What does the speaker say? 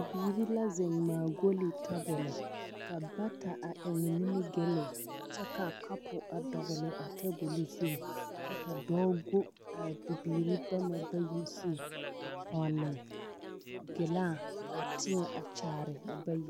Bibirii la zeŋe ŋmaa golli tabole ka bata a eŋe nimigelle kyɛ ka kapu a dɔgle tabol zu kyɛ ka dɔɔ go a bibiiri bama bayi zu a pɔnne gilaa a teɛŋ a kyaare a bayi.